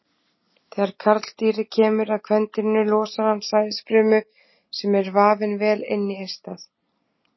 Þegar karldýrið kemur að kvendýrinu losar hann sæðisfrumu sem er vafinn vel inn í eistað.